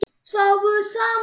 Sváfu saman?